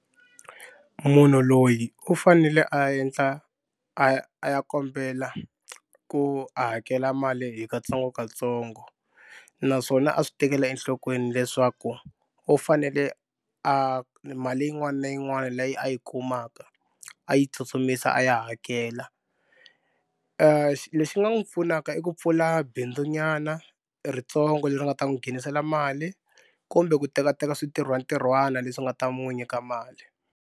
Munhu loyi u fanele a endla a a ya kombela ku a hakela mali hi katsongokatsongo naswona a swi tekela enhlokweni leswaku u fanele a mali yin'wana na yin'wana leyi a yi kumaka a yi tsutsumisa a ya hakela lexi nga n'wi pfunaka i ku pfula bindzunyana ritsongo leri nga ta n'wi nghenisela mali kumbe ku tekateka swintirhwantirhwana leswi nga ta n'wi nyika mali.